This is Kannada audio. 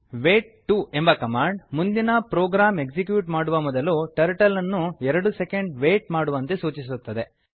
ವೇಟ್ 2 ಎಂಬ ಕಮಾಂಡ್ ಮುಂದಿನ ಪ್ರೋಗ್ರಾಂ ಎಕ್ಸಿಕ್ಯೂಟ್ ಮಾಡುವ ಮೊದಲು ಟರ್ಟಲ್ ಅನ್ನು 2 ಸೆಕೆಂಡ್ ವೇಟ್ ಮಾಡುವಂತೆ ಸೂಚಿಸುತ್ತದೆ